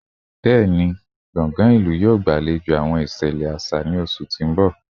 Bẹẹni, square ilu yoo gbalejo awọn iṣẹlẹ aṣa ni oṣu ti n bọ